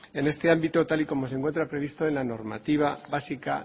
en este ámbito tal y como se encuentra previsto en la normativa básica